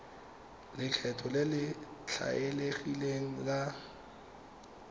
lekgetho le le tlwaelegileng la